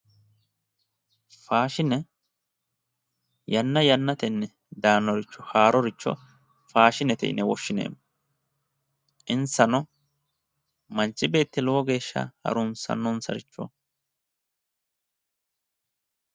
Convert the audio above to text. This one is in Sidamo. Faashine yanna yannatenni daannoricho haaroricho faashinete yine woshshineemmo, insano, manchi beetti lowo geeshsha harunsannosaricho